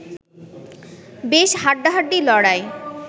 বেশ হাড্ডাহাড্ডি লড়াই